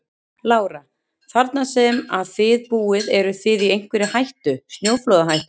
Lára: Þarna sem að þið búið eruð þið í einhverri hættu, snjóflóðahættu?